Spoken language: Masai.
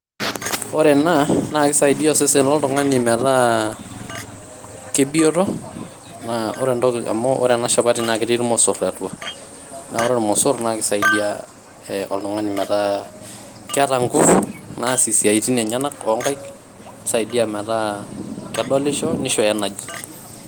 Ore ena naa kisaidia osesen loltungani metaa aa kebioto naa ore entoki ore ena shapati naa ketii irmosorr atua . naa ore irmosorr kisaidia oltungani metaa keeta nguvu naasie siatin enyenak oonkaik, nisaidia metaa kedolisho ,nisho energy.